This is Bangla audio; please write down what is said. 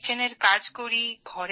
রান্নাঘরের কাজ করি